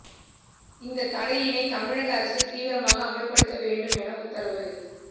இந்த தடையினை தமிழக அரசு தீவிரமாக அமல்படுத்த வேண்டும் என உத்தரவு